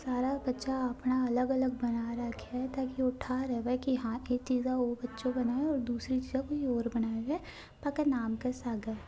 सारा बच्चा अपना अलग-अलग बना रह है ताकि ठा रहव की या चीज़ा यो बच्चो बणायो है दूसरी चीज़ा कोई और बणायो बा के नाम के सागे--